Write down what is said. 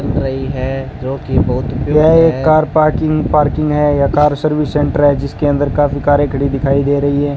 यह एक car parking parking है या कर सर्विस सेंटर कार है जिसके अंदर काफी कारें खड़ी दिखाई दे रही हैं।